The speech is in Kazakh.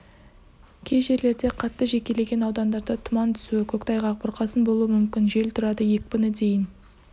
кей жерлерде қатты жекелеген аудандарда тұман түсуі көктайғақ бұрқасын болуы мүмкін жел тұрады екпіні дейін